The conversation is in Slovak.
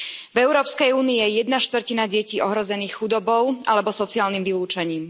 V Európskej únii je jedna štvrtina detí ohrozená chudobou alebo sociálnym vylúčením.